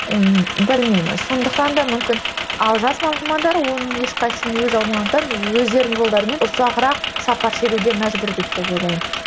ы сондықтан да мүмкін ал жас мамандар оның ешқайсысын өзі өздерінің жолдарымен ұзағырақ сапар шегуге мәжбүр деп те ойлаймын